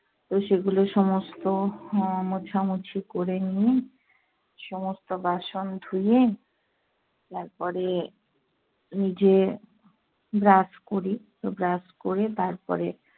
তো সেগুলো সমস্ত হম মোছামুছি করে নিই, সমস্ত বাসন ধুয়ে, তারপরে নিজে brush করি। তো brush করে তারপরে